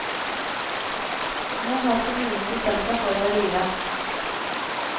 Nå har kommunen bestemt seg for å rive.